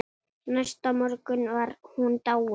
Næsta morgun var hún dáin.